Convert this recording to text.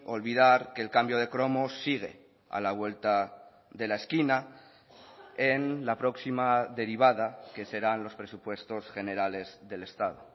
olvidar que el cambio de cromos sigue a la vuelta de la esquina en la próxima derivada que serán los presupuestos generales del estado